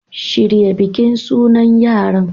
Shirya bikin sunan yaran